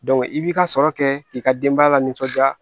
i b'i ka sɔrɔ kɛ k'i ka denbaya la nisɔndiya